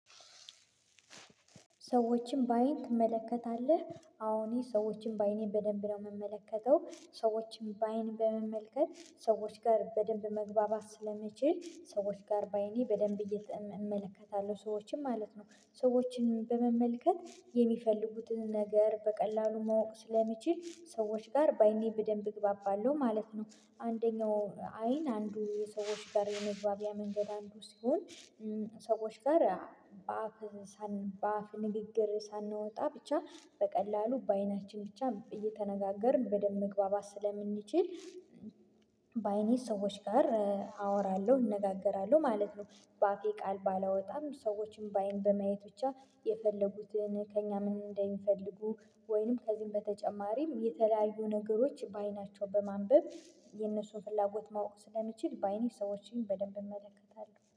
ሰዎችን በአይን ትመለከታለህ አሁን ሰዎችን በአይኔን በደንብ ነው የምመለከተው። ሰዎችን በአይን በመመልከት ሰዎች ጋር በደንብ መግባባት ስለመችል ሰዎች ጋር በአይኔ በደንብ እየተመለከታለሁ ሰዎችን ማለት ነው። ሰዎችን በመመልከት የሚፈልጉትን ነገር በቀላሉ ማወቅ ስለሚችል ሰዎች ጋር በአይኔ በደንብ እግባባለሁ ማለት ነው። አንደኛው አይን አንዱ የሰዎች ጋር የመግባቢያ መንገድ አንዱ ሲሆን ሰዎች ጋር በአፍ በአፍ ንግግር ሳንወጣ ብቻ በቀላሉ በአይናችን ብቻ እየተነጋገርን በደንብ መግባባት ስለምንችል። በአይኔ ሰዎች ጋር አወራለሁ እነጋገራለሁ ማለት ነው። በአፌ ቃል ባላወጣም ሰዎችን በአይን በማየት ብቻ የፈለጉትን ከእኛ ምን እንደሚፈልጉ ወይንም ከዚህም በተጨማሪም የተለያዩ ነገሮች በአይናቸው በማንበብ የነሱን ፍላጎት ማወቅ ስለምችል በአይኔ ሰዎችን በደንብ እመለከታለሁ